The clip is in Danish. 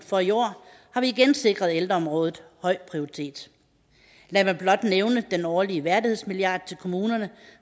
for i år har vi igen sikret ældreområdet høj prioritet lad mig blot nævne den årlige værdighedsmilliard til kommunerne